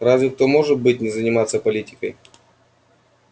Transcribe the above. разве кто может быть не заниматься политикой